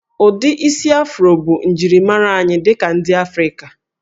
Ụdị isi Afro bụ njirimara anyị dị ka ndị Afrịka